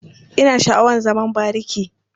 Ina sha'awar zaman bariki.